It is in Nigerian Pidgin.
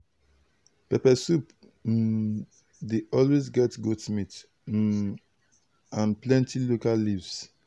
pepper soup um dey always get goat meat um and plenty local leaves.